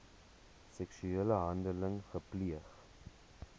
seksuele handeling gepleeg